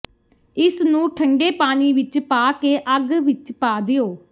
ਇਸ ਨੂੰ ਠੰਡੇ ਪਾਣੀ ਵਿਚ ਪਾ ਕੇ ਅੱਗ ਵਿਚ ਪਾ ਦਿਓ